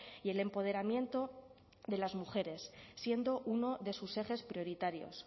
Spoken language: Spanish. y el empoderamiento de las mujeres siendo uno de sus ejes prioritarios